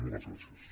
moltes gràcies